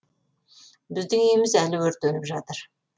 біздің үйіміз әлі өртеніп жатыр